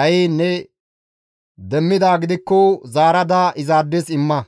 dhayiin ne demmidaa gidikko zaarada izaades imma.